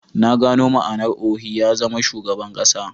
Na gano ma'anar Ohi ya zama Shugaban kasa